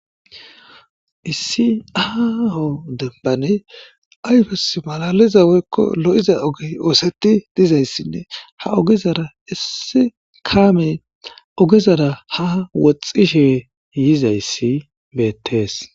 issi aaho debbane ayfes malaliza woykko lo7iza oge ooseti dizayssinne ha ogezara issi kaame ogezara ha woxxishe yizayssi beettees